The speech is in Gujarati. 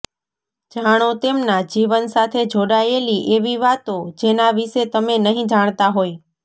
જાણો તેમના જીવન સાથે જોડાયેલી એવી વાતો જેના વિષે તમે નહિ જાણતા હોય